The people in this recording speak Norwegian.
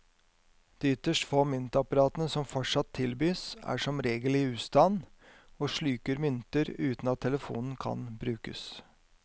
De ytterst få myntapparatene som fortsatt tilbys, er som regel i ustand og sluker mynter uten at telefonen kan brukes.